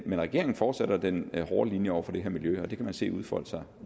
regeringen fortsætter den hårde linje over for det her miljø og det kan man se udfolde sig